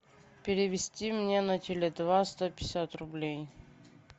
перевести мне на теле два сто пятьдесят рублей